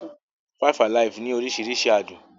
Five-alive ní oríṣiríṣi àádùn.